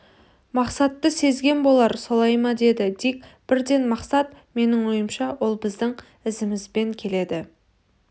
мақсатты сезген болар солай ма деді дик бірден мақсат менің ойымша ол біздің ізімізбен келеді